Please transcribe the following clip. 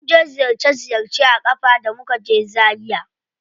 Mun je ziyarce ziyarce a ƙafa da muka je zaria.